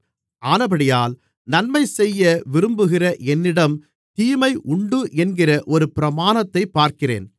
ஆனபடியால் நன்மைசெய்ய விரும்புகிற என்னிடம் தீமை உண்டு என்கிற ஒரு பிரமாணத்தைப் பார்க்கிறேன்